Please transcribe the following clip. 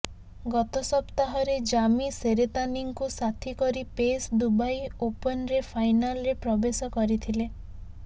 ଗତ ସପ୍ତାହରେ ଜାମି ସେରେତାନିଙ୍କୁ ସାଥୀ କରି ପେସ୍ ଦୁବାଇ ଓପନ୍ର ଫାଇନାଲ୍ରେ ପ୍ରବେଶ କରିଥିଲେ